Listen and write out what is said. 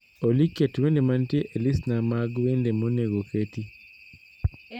Olly ket wende mantie elistna mag wende monego keti